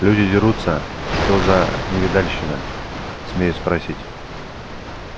люди дерутся что за невидальщина смею спросить